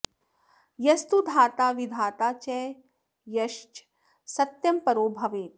यस्तु धाता विधाता च यश्च सत्यं परो भवेत्